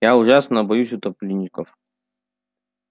я ужасно боюсь утопленников